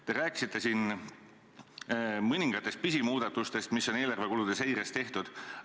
Te rääkisite siin mõningatest pisimuudatustest, mis on eelarvekulude seirest tehtud.